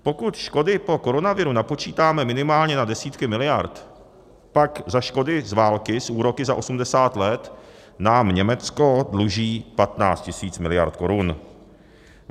Pokud škody po koronaviru napočítáme minimálně na desítky miliard, pak za škody z války s úroky za 80 let nám Německo dluží 15 tisíc miliard korun.